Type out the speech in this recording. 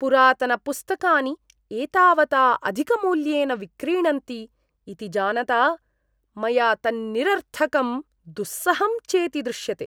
पुरातनपुस्तकानि एतावता अधिकमूल्येन विक्रीणन्ति इति जानता मया तन्निरर्थकं दुःसहं चेति दृश्यते।